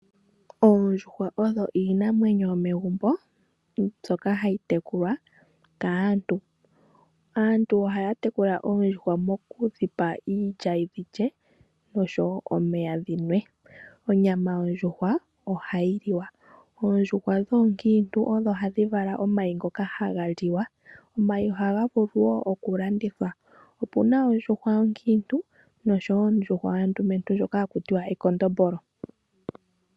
Oondjuhwa odho iinamwenyo yomegumbo, mbyoka hayi tekulwa kaantu. Aantu ohaatekula oondjuhwa mokudhipa iilya dhi lye nosho woo omeya dhinwe. Onyama yondjuhwa oha yi liwa, oondjuhwa dhoonkintu odho hadhi vala omayi ngoka haga liwa, omayi ohaga vulu woo okulandithwa, opuna ondjuhwa onkiintu nosho woo ondjuhwa ondumentu hakutiwa ekondombolo.